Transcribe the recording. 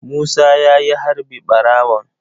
Musa ya yi harbi ɓarawon.